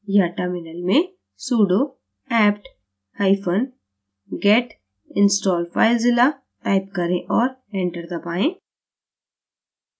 या terminal में sudo aptget install filezilla type करें और enter press करें